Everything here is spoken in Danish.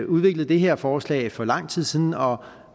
udviklet det her forslag for lang tid siden og